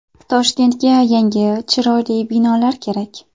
Toshkentga yangi, chiroyli binolar kerak.